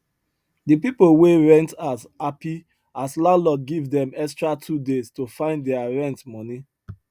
the people wey rent house happy as landlord give dem extra 2 days to find their rent money